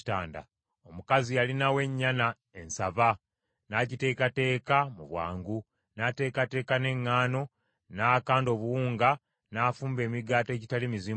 Omukazi yalinawo ennyana ensava, n’agiteekateeka mu bwangu. N’ateekateeka n’eŋŋaano, n’akanda obuwunga, n’afumba emigaati egitali mizimbulukuse.